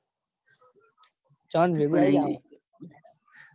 જાન ભેગા આયી જવા નું